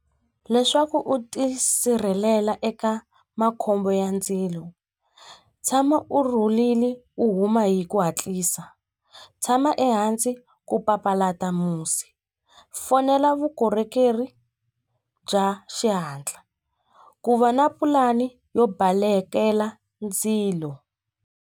Leswaku u tisirhelela eka makhombo ya ndzilo tshama u rhulile u huma hi ku hatlisa tshama ehansi ku papalata musi fonela vukorhokeri bya xihatla ku va na pulani yo balekela ndzilo.